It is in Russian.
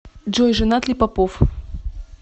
джой женат ли попов